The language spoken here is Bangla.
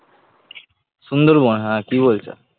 সুন্দরবন হ্যাঁ কি বলছে?